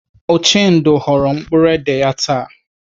Uchendu ghọrọ mkpụrụ édè ya taa.